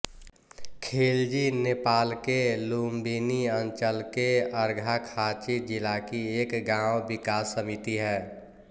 खिल्जी नेपालके लुम्बिनी अंचलके अर्घाखाँची जिलाकी एक गाँव विकास समिति है